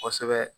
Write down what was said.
Kosɛbɛ